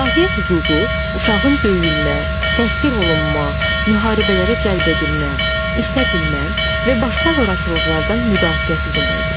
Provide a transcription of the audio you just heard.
Müdafiə hüququ uşağın döyülmə, təhqir olunma, müharibələrə cəlb edilmə, işlədilmə və başqa zorakılıqlardan müdafiəsi deməkdir.